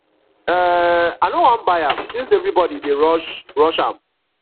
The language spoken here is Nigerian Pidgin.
um i no wan buy am since everybody dey rush rush am